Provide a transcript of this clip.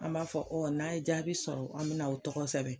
An b'a fɔ o n'a ye jaabi sɔrɔ, an bɛna aw tɔgɔ sɛbɛ.